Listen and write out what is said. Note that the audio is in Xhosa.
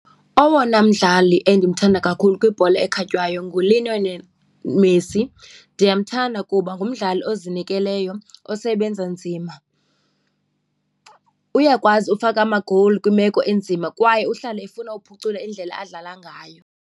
Owona mdlali endimthanda kakhulu kwibhola ekhatywayo nguLionel Messi. Ndiyamthanda kuba ngumdlali ozinikeleyo osebenza nzima. Uyakwazi ufaka amagowuli kwimeko enzima kwaye uhlala efuna uphucula indlela adlala ngayo.